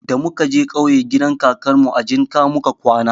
Da muka je ƙauye gidan kakanmu a jinƙa muka kwana.